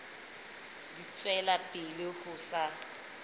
di tswela pele ho sa